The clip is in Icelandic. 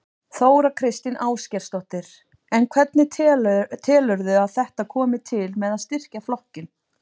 Þóra Kristín Ásgeirsdóttir: En hvernig telurðu að þetta komi til með að styrkja flokkinn?